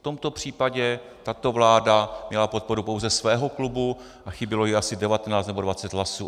V tomto případě tato vláda měla podporu pouze svého klubu a chybělo jí asi 19 nebo 20 hlasů.